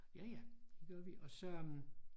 Ja ja det gjorde vi og så øh